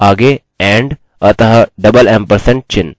इन्हें डबल एम्परसेंडचिह्न से अलग करें